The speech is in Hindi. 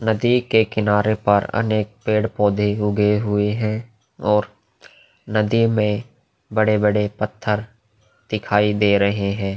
नदी के किनारे पर अनेक पेड़-पौधे उगे हुए हैं और नदी में बड़े-बड़े पत्थर दिखाई दे रहे हैं।